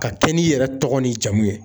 Ka kɛ n'i yɛrɛ tɔgɔ n'i jamu ye